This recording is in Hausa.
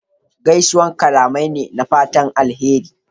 Gaisuwa kalamai ne na fatan alheri.